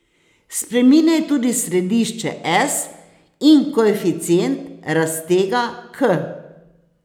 Spreminjaj tudi središče S in koeficient raztega k.